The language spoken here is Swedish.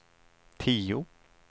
tio